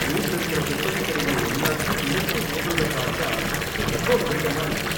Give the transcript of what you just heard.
ஊர்ல இருக்கிற புத்தகக்கடைங்க எல்லாத்தையும் இழுத்து மூடுறத பார்த்தா ரொம்ப வருத்தமா இருக்கு.